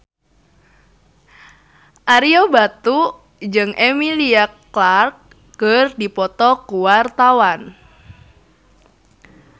Ario Batu jeung Emilia Clarke keur dipoto ku wartawan